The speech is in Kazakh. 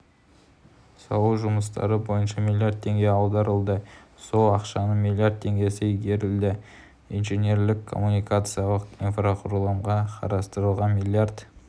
салу жұмыстары бойынша млрд теңге аударылды сол ақшаның млрд теңгесі игерілді инженерлік-коммуникациялық инфрақұрылымға қарастырылған млрд